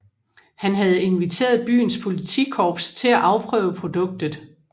Han havde inviteret byens politikorps til at afprøve produktet